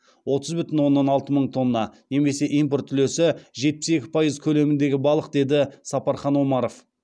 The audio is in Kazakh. отыз бүтін оннан алты мың тонна немесе импорт үлесі жетпіс екі пайыз көлеміндегі балық деді сапархан омаров